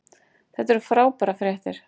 Þetta eru frábærar fréttir